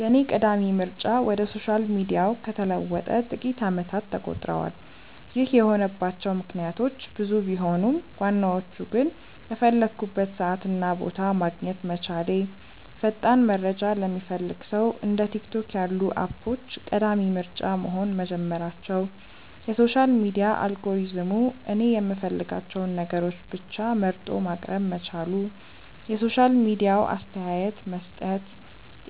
የኔ ቀዳሚ ምርጫ ወደ ሶሻል ሚዲያው ከተለወጠ ጥቂት አመታት ተቆጥረዋል። ይህ የሆነባቸው ምክንያቶች ብዙ ቢሆኑም ዋናዎቹ ግን:- በፈለኩበት ሰዓት እና ቦታ ማግኘት መቻሌ፣ ፈጣን መረጃ ለሚፈልግ ሰው እንደ ቲክቶክ ያሉ አፖች ቀዳሚ ምርጫ መሆን መጀመራቸው፣ የሶሻል ሚዲያ አልጎሪዝሙ እኔ የምፈልጋቸውን ነገሮች ብቻ መርጦ ማቅረብ መቻሉ፣ የሶሻል ሚዲያው አስተያየት መስጠት፣